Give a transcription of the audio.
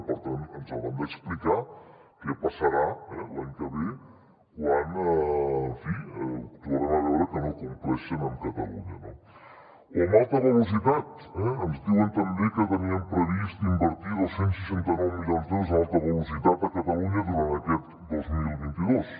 per tant ens hauran d’explicar què passarà l’any que ve quan en fi tornem a veure que no compleixen amb catalunya no o en alta velocitat eh ens diuen també que tenien previst invertir dos cents i seixanta nou milions d’euros en alta velocitat a catalunya durant aquest dos mil vint dos